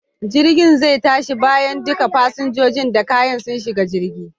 Jirgin zai tashi bayan duka fasinjojin da kayan su shiga jirgin.